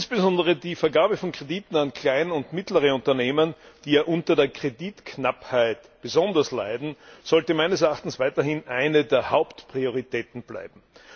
Insbesondere die Vergabe von Krediten an Klein und mittlere Unternehmen, die ja unter der Kreditknappheit besonders leiden, sollte meines Erachtens weiterhin eine der Hauptprioritäten bleiben.